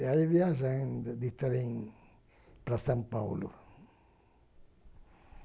ia viajando de trem para São Paulo.